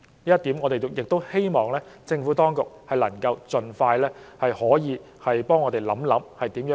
就此，我們希望政府當局可以盡快想法子，作出妥善安排。